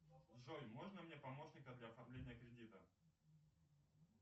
джой можно мне помощника для оформления кредита